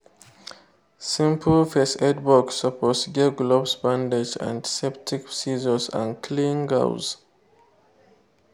simple first aid box suppose get glove bandage antiseptic scissors and clean gauze.